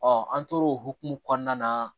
an tor'o hokumu kɔnɔna na